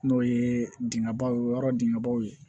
N'o ye dingɛbaw ye o yɔrɔ dingɛ baw ye